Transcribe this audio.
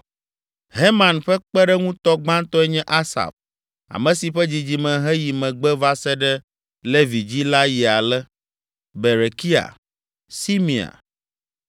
Heman ƒe kpeɖeŋutɔ gbãtɔe nye Asaf, ame si ƒe dzidzime heyi megbe va se ɖe Levi dzi la yi ale: Berekia, Simea,